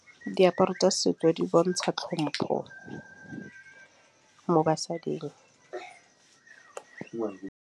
Diaparo tsa setso di bontšha tlhompho mo basading.